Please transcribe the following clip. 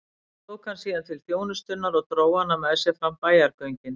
Tók hann síðan til þjónustunnar og dró hana með sér fram í bæjargöngin.